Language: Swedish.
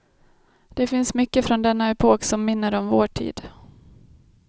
Det finns mycket från denna epok som minner om vår tid.